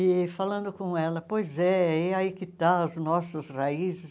E falando com ela, pois é, é aí que está as nossas raízes.